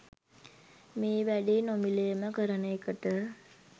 මේ වැඩේ නොමිලේම කරන එකට.